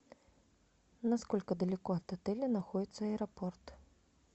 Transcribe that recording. насколько далеко от отеля находится аэропорт